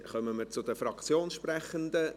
Dann kommen wir zu den Fraktionssprechenden.